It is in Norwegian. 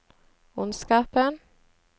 ondskapen